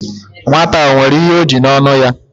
Nwata a, o nwere ihe o ji n'onu ya?